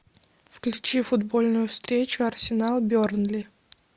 включи футбольную встречу арсенал бернли